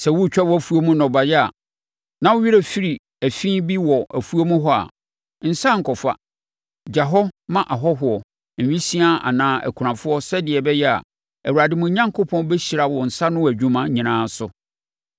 Sɛ woretwa wʼafuo mu nnɔbaeɛ, na wo werɛ firi afi bi wɔ afuom hɔ a, nsane nkɔfa. Gya wɔ hɔ ma ahɔhoɔ, awisiaa anaa akunafoɔ sɛdeɛ ɛbɛyɛ a, Awurade, mo Onyankopɔn, bɛhyira mo nsa ano nnwuma nyinaa so.